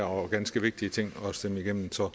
og ganske vigtige ting at stemme igennem så